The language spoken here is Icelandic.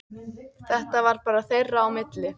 Þetta var bara þeirra á milli.